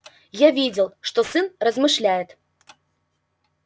я видел что сын размышляет